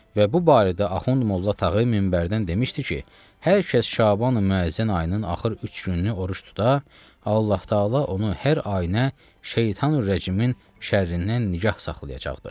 Və bu barədə Axund Molla Tağı minbərdən demişdi ki, hər kəs Şaban Müəzzən ayının axır üç gününü oruc tuta, Allah-Taala onu hər ayınə şeytanü Rəcimin şərrindən nigah saxlayacaqdı.